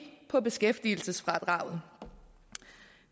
på beskæftigelsesfradraget